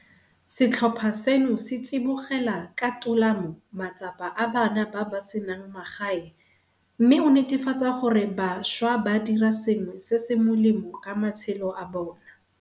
Setlhopha seno se tsibogela ka tolamo matsapa a bana ba ba senang magae mme o netefatsa gore bašwa ba dira sengwe se se molemo ka matshelo a bona.